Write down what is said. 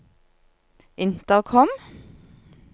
intercom